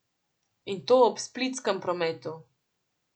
In to ob splitskem prometu.